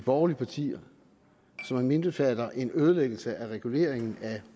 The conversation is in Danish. borgerlige partier som indbefatter en ødelæggelse af reguleringen af